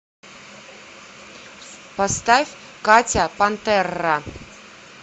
поставь катя пантерра